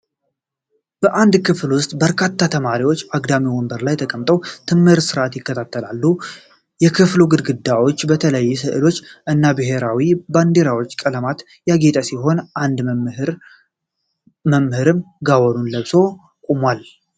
በአንድ ክፍል ውስጥ በርካታ ተማሪዎች አግዳሚ ወንበር ላይ ተቀምጠው የትምህርት ሥርዓት ይከታተላሉ። የክፍሉ ግድግዳዎች በተለያዩ ሥዕሎች እና በብሔራዊ ባንዲራ ቀለማት ያጌጠ ሲሆን አንድ መምህርም ጋወኑን ለብሶ ቆሞአል።